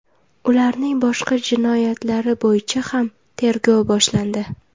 Ularning boshqa jinoyatlari bo‘yicha ham tergov boshlandi .